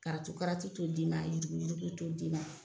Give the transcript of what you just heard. Karatu karatu t'o d'i ma ayi yuruku yuruku yuruku t'o d'i ma